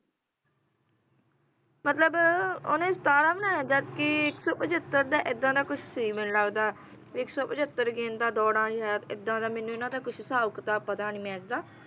ਉਹਨੇਂ ਸਤਾਰਾਂ ਬਣਾਏ ਇੱਕ ਸੌ ਪਿਛਤਰ ਐਦਾਂ ਦਾ ਕੁਝ ਸੀ ਮੈਨੂੰ ਲਗਦਾ ਵੀ ਇੱਕ ਸੌ ਪਿੱਛਤਰ dont i have don't I have